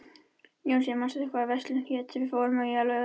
Jónsi, manstu hvað verslunin hét sem við fórum í á laugardaginn?